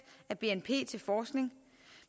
af bnp til forskning